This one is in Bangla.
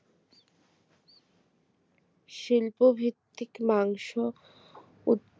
শিল্পভিত্তিক মাংস উৎ